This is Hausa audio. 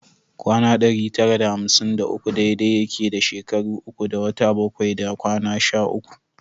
Kwana ɗari tara da hamsin da uku dai dai yake da shekara uku da wata bakwai da kwana sha uku